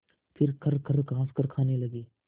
फिर खरखर खाँसकर खाने लगे